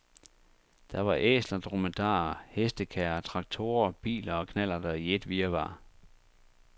Der var æsler, dromedarer, hestekærrer, traktorer, biler og knallerter i et virvar.